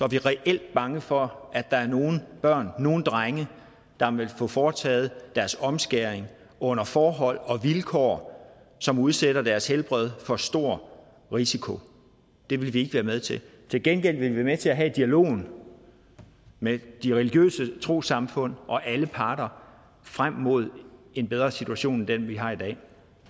vi reelt bange for at der er nogle børn nogle drenge der vil få foretaget omskæring under forhold og vilkår som udsætter deres helbred for stor risiko det vil vi ikke være med til til gengæld vil vi være med til at have dialogen med de religiøse trossamfund og alle parter frem mod en bedre situation end den vi har i dag